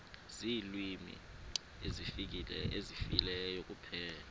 ziilwimi ezifileyo kuphela